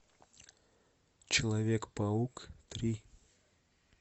человек паук три